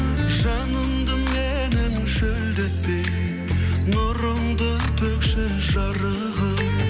жанымды менің шөлдетпей нұрыңды төкші жарығым